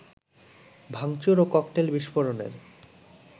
ভাংচুর ও ককটেল বিস্ফোরণের